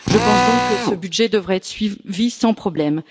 Je pense donc que ce budget devrait être suivi sans problème.